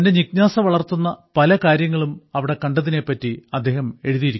തന്റെ ജിജ്ഞാസ വളർത്തുന്ന പല കാര്യങ്ങളും അവിടെ കണ്ടതിനെപ്പറ്റി അദ്ദേഹം എഴുതി